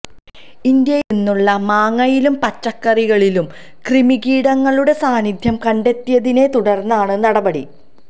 ഇന്ത്യയില് നിന്നുള്ള മാങ്ങയിലും പച്ചക്കറികളിലും കൃമികീടങ്ങളുടെ സാന്നിധ്യം കണ്ടെത്തിയതിനെ തുടര്ന്നാണ് നടപടി